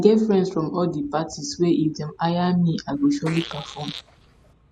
i get friends from all di parties wey if dem hire me i go surely perform